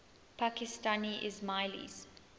pakistani ismailis